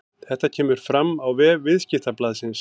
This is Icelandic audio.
Þetta kemur fram á vef Viðskiptablaðsins